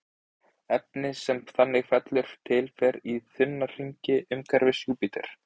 efnið sem þannig fellur til fer í þunna hringinn umhverfis júpíter